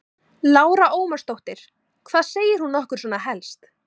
Lára Ómarsdóttir: Hvað segir hún okkur svona helst?